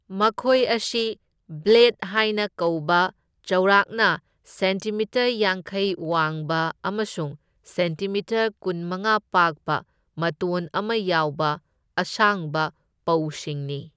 ꯃꯈꯣꯏ ꯑꯁꯤ ꯕ꯭ꯂꯦꯗ ꯍꯥꯏꯅ ꯀꯧꯕ ꯆꯥꯎꯔꯥꯛꯅ ꯁꯦꯟꯇꯤꯃꯤꯇꯔ ꯌꯥꯡꯈꯩ ꯋꯥꯡꯕ ꯑꯃꯁꯨꯡ ꯁꯦꯟꯇꯤꯃꯤꯇꯔ ꯀꯨꯟꯃꯉꯥ ꯄꯥꯛꯄ ꯃꯇꯣꯟ ꯑꯃ ꯌꯥꯎꯕ ꯑꯁꯥꯡꯕ ꯄꯧꯁꯤꯡꯅꯤ꯫